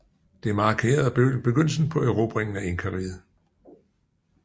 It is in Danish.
Det markerede begyndelsen på erobringen af Inkariget